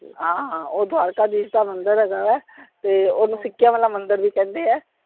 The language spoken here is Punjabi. ਹਾਂ ਹਾਂ ਉਹ ਦਵਾਰਕਾ ਦੀਸ਼ ਦਾ ਮੰਦਿਰ ਹੈਗਾ ਵੇ, ਤੇ ਓਹਨੂੰ ਸਿੱਕੇਆਂ ਵਾਲਾ ਮੰਦਿਰ ਵੀ ਕਹਿੰਦੇ ਆ।